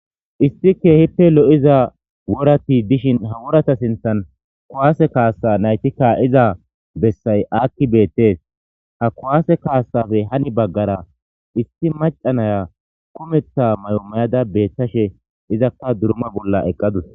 issi kehippe lo7iza worati dishin ha worata sinthan kuwaase kaasa naytikka iza bessay aakki beettees ha kuwaase kaasafe hani baggara isti macanaya kumetha may7o mayada beettashe izakka durma bolla eqqadus